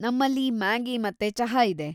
ನಮ್ಮಲ್ಲಿ ಮ್ಯಾಗಿ ಮತ್ತೆ ಚಹಾ ಇದೆ.